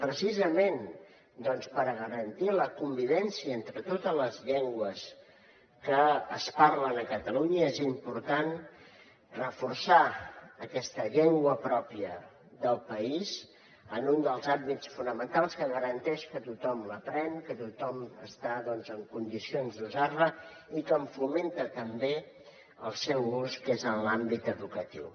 precisament per garantir la convivència entre totes les llengües que es parlen a catalunya és important reforçar aquesta llengua pròpia del país en un dels àmbits fonamentals que garanteix que tothom l’aprèn que tothom està en condicions d’usar la i que en fomenta també l’ús que és l’àmbit eductiu